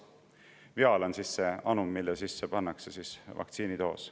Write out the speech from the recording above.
Viaal on see anum, mille sisse pannakse vaktsiinidoos.